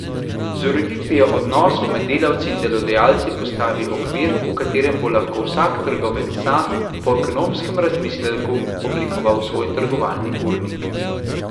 Z ureditvijo odnosov med delavci in delodajalci postavi okvir, v katerem bo lahko vsak trgovec sam, po ekonomskem razmisleku, oblikoval svoj trgovalni urnik.